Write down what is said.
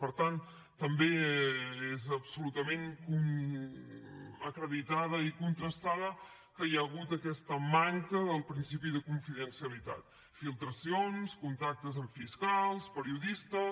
per tant també és absolutament acreditada i contrastada que hi ha hagut aquesta manca del principi de confidencialitat filtracions contactes amb fiscals periodistes